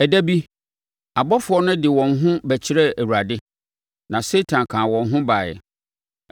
Ɛda bi, abɔfoɔ no de wɔn ho bɛkyerɛɛ Awurade, na Satan kaa wɔn ho baeɛ.